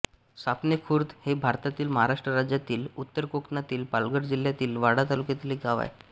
सापणेखुर्द हे भारतातील महाराष्ट्र राज्यातील उत्तर कोकणातील पालघर जिल्ह्यातील वाडा तालुक्यातील एक गाव आहे